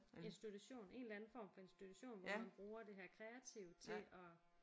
Institution en eller anden form for institution hvor man bruger det her kreative til at